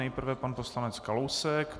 Nejprve pan poslanec Kalousek.